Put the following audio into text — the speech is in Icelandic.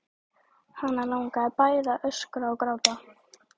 Hana langaði bæði til að öskra og gráta.